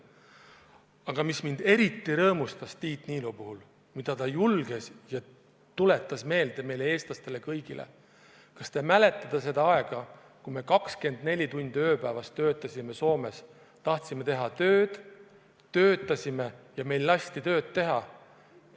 Aga mis mind eriti rõõmustas Tiit Niilo puhul, oli see, et ta julges meile, eestlastele meelde tuletada seda aega, kui me 24 tundi ööpäevas töötasime Soomes, tahtsime teha tööd, töötasime ja meil lasti tööd teha.